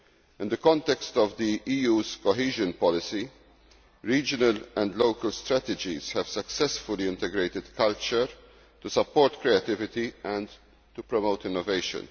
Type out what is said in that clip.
In the context of the EU's cohesion policy, regional and local strategies have successfully integrated culture to support creativity and to promote innovation.